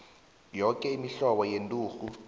yoke imihlobo yenturhu